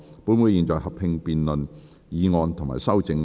本會現在合併辯論議案及修正案。